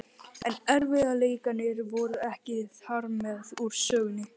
En erfiðleikarnir voru ekki þarmeð úr sögunni.